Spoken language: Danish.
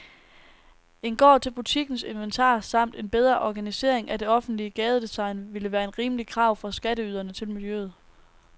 En gård til butikkens inventar samt en bedre organisering af det offentlige gadedesign ville være et rimeligt krav fra skatteyderne til miljøet.